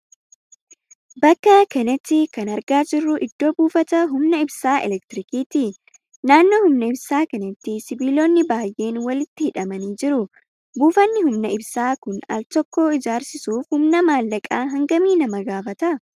Bakka kanatti kan argaa jirru iddoo buufata humna ibsaa 'elektirikiiti'. Naannoo humna ibsaa kanatti sibiilonni baay'een walitti hidhamanii jiru. Buufatni humna ibsa kun al tokko ijaarsisuuf humna maallaqa hangamii nama gaafata?